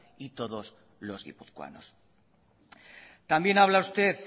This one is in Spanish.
y todos los guipuzcoanos también habla usted